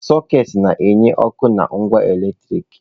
Sọketị na enye ọkụ na ngwa eletriki.